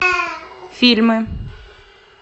фильмы